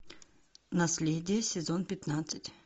наследие сезон пятнадцать